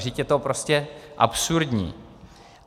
Vždyť je to prostě absurdní!